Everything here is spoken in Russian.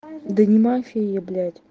да не мафия я блять